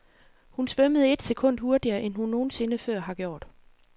Hun svømmede ét sekund hurtigere end hun nogen sinde før har gjort.